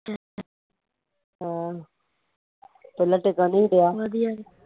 ਆਹੋ ਥੱਲੇ ਟਿਕਣ ਨੀ ਸੀ ਡਿਆ